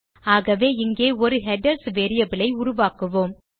ஆகவே இங்கே ஒரு ஹெடர்ஸ் வேரியபிள் ஐ உருவாக்குவோம்